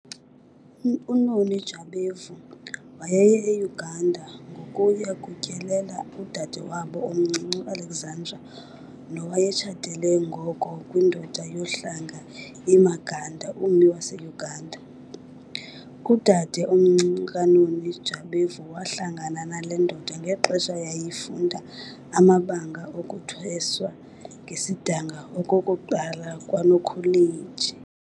UNoni Jabavu wayeye eUganda ngokuya kutyelela udade wabo omncinci uAlexandra nowayetshatele ngoko kwindoda yohlanga iMaganda, ummi waseUganda. Udade omncinci kaNoni Jabavu wahlangana nale ndoda ngexesha yayifunda amabanga okuthweswa ngesidanga okokuqala kwaNokholeji.